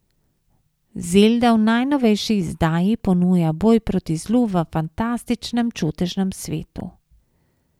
Zelda v najnovejši izdaji ponuja boj proti zlu v fantastičnem čudežnem svetu.